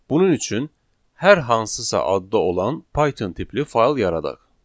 Bunun üçün hər hansısa adda olan Python tipli fayl yaradaq.